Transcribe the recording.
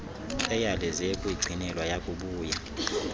eyalezele ukuyigcinelwa yakubuya